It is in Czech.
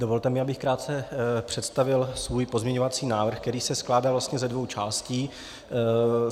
Dovolte mi, abych krátce představil svůj pozměňovací návrh, který se skládá vlastně ze dvou částí.